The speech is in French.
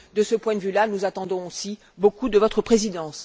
De ce point de vue là, nous attendons aussi beaucoup de votre présidence.